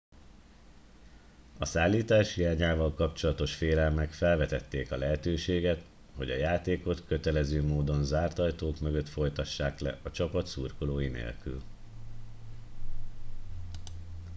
a szállítás hiányával kapcsolatos félelmek felvetették a lehetőséget hogy a játékot kötelező módon zárt ajtók mögött folytassák le a csapat szurkolói nélkül